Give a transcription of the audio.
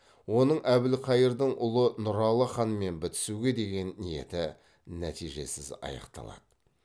оның әбілқайырдың ұлы нұралы ханмен бітісуге деген ниеті нәтижесіз аяқталады